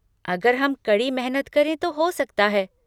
अगर हम कड़ी मेहनत करें तो हो सकता है।